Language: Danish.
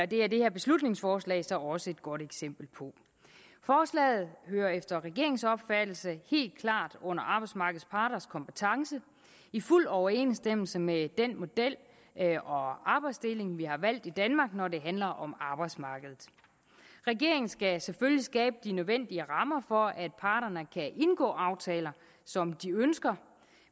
det er det her beslutningsforslag så også et godt eksempel på forslaget hører efter regeringens opfattelse helt klart under arbejdsmarkedets parters kompetence i fuld overensstemmelse med den model og arbejdsdeling vi har valgt i danmark når det handler om arbejdsmarkedet regeringen skal selvfølgelig skabe de nødvendige rammer for at parterne kan indgå aftaler som de ønsker